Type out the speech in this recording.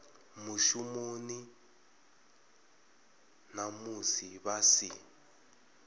mushumoni na musi vha si